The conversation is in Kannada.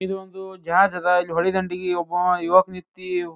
ಇದೊಂದು ಜಾಗ ಅದಾ ಇಲ್ಲಿ ಹೊಳಿ ದಂಡಿಗೆ ಒಬ್ಬ ಯುವಕ ನಿಂತಿ --